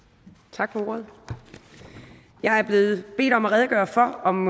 tak for ordet jeg er blevet bedt om at redegøre for om